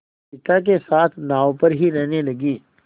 पिता के साथ नाव पर ही रहने लगी